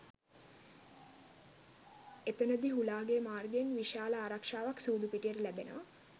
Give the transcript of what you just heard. එතනදී හුලාගේ මාර්ගයෙන් විශාල ආරක්‍ෂාවක්‌ සූදු පිටියට ලැබෙනවා